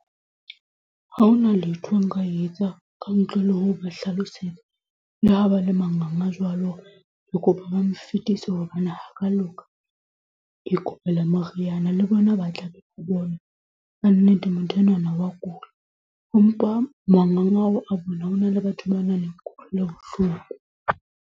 Ha hona letho nka etsa ka ntle le ho ba hlalosetse le ha ba le manganga jwalo, ke kopa ba mo fetise hobane loka e kopela moriana le bona ba tla ka nnete motho enwana wa kula mpa manganga ao a bona. Ho na le batho ba nang le kutlwelobohloko.